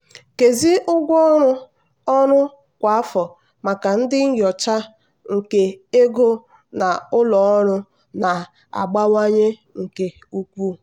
nkezi ụgwọ ọrụ ọrụ kwa afọ maka ndị nyocha nke ego na ụlọ ọrụ na-abawanye nke ukwuu.